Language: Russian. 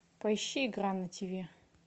поищи игра на ти ви